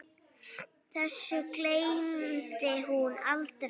Þessu gleymdi hún aldrei.